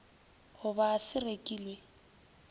go ba se rekilw e